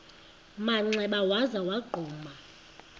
manxeba waza wagquma